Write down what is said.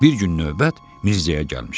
Bir gün növbət Mirzəyə gəlmişdi.